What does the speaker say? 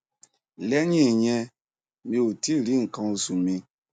lẹyìn ìyẹn mi ò tí ì rí nkan osu mi